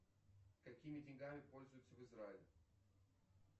какими деньгами пользуются в израиле